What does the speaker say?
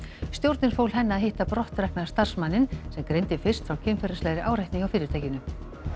stjórnin fól henni að hitta brottrekna starfsmanninn sem greindi fyrst opinberlega frá kynferðislegri áreitni hjá fyrirtækinu